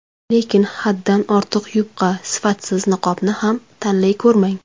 Lekin haddan ortiq yupqa, sifatsiz niqobni ham tanlay ko‘rmang.